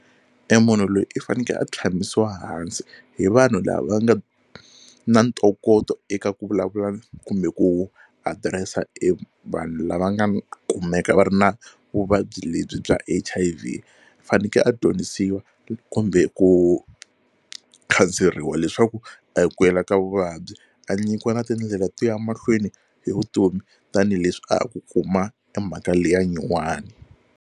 E munhu loyi i faneke a tshamisa hansi hi vanhu lava nga na ntokoto eka ku vulavula kumbe ku address-a e vanhu lava nga kumeka va ri na vuvabyi lebyi bya H_I_V. U faneke a dyondzisiwa kumbe ku khanseriwa leswaku a hi ku hela ka vuvabyi a nyikiwa na tindlela to ya mahlweni hi vutomi tanihileswi a ha ku kuma e mhaka leyi ya nyuwani.